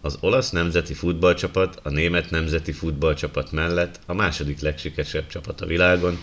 az olasz nemzeti futballcsapat a német nemzeti futballcsapat mellett a második legsikeresebb csapat a világon